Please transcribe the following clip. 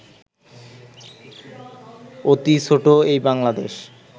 অতি ছোট এই বাংলাদেশ